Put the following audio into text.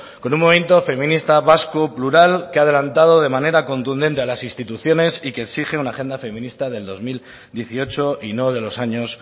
con un movimiento feminista vasco plural que ha adelantado de manera contundente a las instituciones y que exige una agenda feminista del dos mil dieciocho y no de los años